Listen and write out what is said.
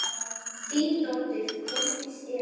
Þín dóttir, Þórdís Eva.